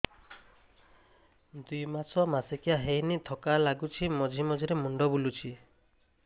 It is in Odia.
ଦୁଇ ମାସ ମାସିକିଆ ହେଇନି ଥକା ଲାଗୁଚି ମଝିରେ ମଝିରେ ମୁଣ୍ଡ ବୁଲୁଛି